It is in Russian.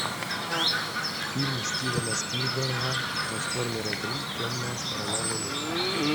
фильмы стивена спилберга трансформеры три темная сторона луны